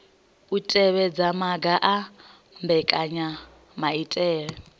u tevhedza maga a mbekanyamaitele